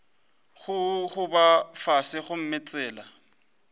go gogoba fase gomme tsela